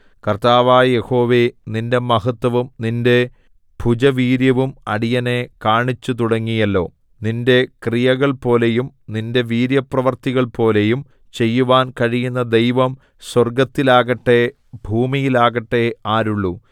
കർത്താവായ യഹോവേ നിന്റെ മഹത്വവും നിന്റെ ഭുജവീര്യവും അടിയനെ കാണിച്ചുതുടങ്ങിയല്ലോ നിന്റെ ക്രിയകൾപോലെയും നിന്റെ വീര്യപ്രവൃത്തികൾപോലെയും ചെയ്യുവാൻ കഴിയുന്ന ദൈവം സ്വർഗ്ഗത്തിലാകട്ടെ ഭൂമിയിലാകട്ടെ ആരുള്ളു